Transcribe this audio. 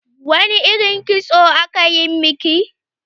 Wani irin kitso aka yi miki?